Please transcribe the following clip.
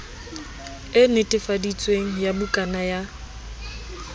e netefaditsweng ya bukana ya